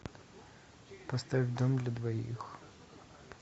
поставь дом для двоих